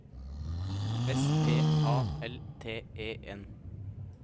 S P A L T E N